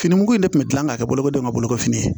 Fini mugu in de kun bɛ gilan ka kɛ bolokolidenw ka bolokofini ye